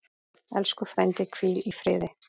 Elsku frændi, hvíl í friði.